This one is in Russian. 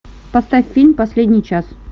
поставь фильм последний час